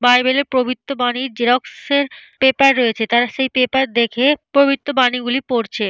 Bible - এর পবিত্র বাণীর জেরক্স -এর পেপার রয়েছে। তারা সেই পেপার দেখে পবিত্র বানী গুলি পড়ছে।